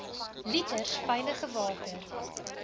liters veilige water